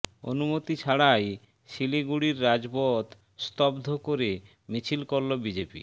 অনুমতি ছাড়াই শিলিগুড়ির রাজপথ স্তব্ধ করে মিছিল করল বিজেপি